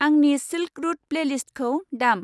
आंनि silk route प्लेलिस्टखौ दाम।